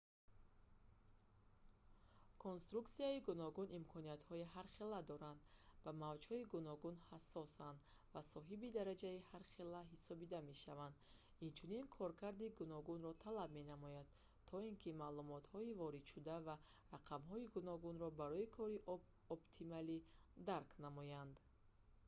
конструксияҳои гуногун имкониятҳои ҳархела доранд ба мавҷҳои гуногун ҳасосанд ва соҳиби дараҷаи ҳархелаи ҳассосӣ доранд инчунин коркарди гуногунро талаб менамоянд то ин ки маълумотҳои воридшуда ва рақамҳои гуногунро барои кори оптималӣ дарк намоянд